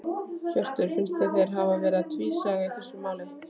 Hjörtur: Finnst þér þeir hafi verið tvísaga í þessu máli?